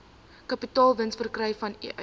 kapitaalwins verkry vanuit